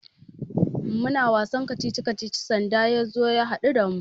Muna wasan kacici-kacici sanda ya zo ya haɗu da mu.